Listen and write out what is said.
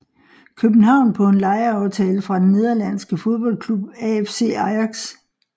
København på en lejeaftale fra den nederlandske fodboldklub AFC Ajax